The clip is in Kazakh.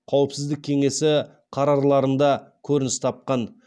қауіпсіздік кеңесі қарарларында көрініс тапқан